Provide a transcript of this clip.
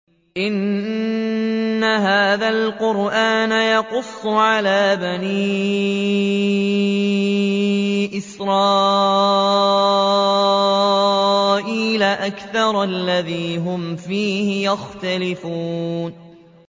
إِنَّ هَٰذَا الْقُرْآنَ يَقُصُّ عَلَىٰ بَنِي إِسْرَائِيلَ أَكْثَرَ الَّذِي هُمْ فِيهِ يَخْتَلِفُونَ